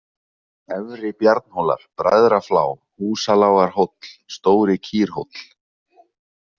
Efri-Bjarnhólar, Bræðraflá, Húsalágarhóll, Stóri-Kýrhóll